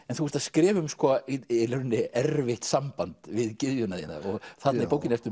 en þú ert að skrifa um í rauninni erfitt samband við gyðjuna þína og þarna í bókinni ertu